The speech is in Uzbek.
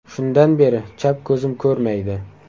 Shundan beri chap ko‘zim ko‘rmaydi.